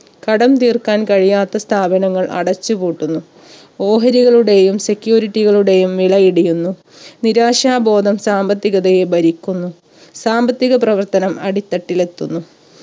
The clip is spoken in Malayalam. കടം തീർക്കാൻ കഴിയാത്ത സ്ഥാപനങ്ങൾ അടച്ച് പൂട്ടുന്നു ഓഹരികളുടെയും security കളുടെയും വിലയിടിയുന്നു നിരാശാബോധം സാമ്പത്തികതയെ ഭരിക്കുന്നു സാമ്പത്തിക പ്രവർത്തനം അടിത്തട്ടിലെത്തുന്നു